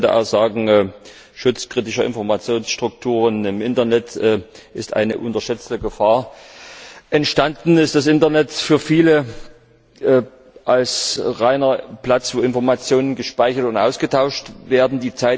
Man könnte auch sagen, der Schutz kritischer Informationsstrukturen im Internet ist eine unterschätzte Gefahr. Entstanden ist das Internet für viele rein als Ort, an dem Informationen gespeichert und ausgetauscht werden.